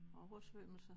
Oversvømmelser